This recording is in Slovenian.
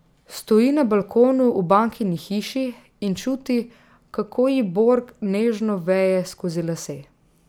Stoji na balkonu v Bankini hiši in čuti, kako ji Borg nežno veje skozi lase.